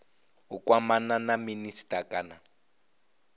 u kwamana na minisita kana